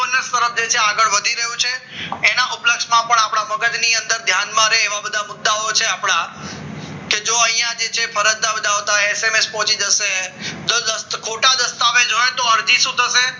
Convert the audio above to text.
આગળ વધી રહ્યું છે એના ઉપલેસમાં પણ આપણા મગજની અંદર ધ્યાનમાં રહે એવા બધા મુદ્દાઓ છે આપણા કે જો અહીંયા જે છે કે ફરજ ના બજાવતા હોય એસ. એમ. એસ પહોંચી જશે જો ખોટા દસ્તાવેજ હોય તો હજી શું થશે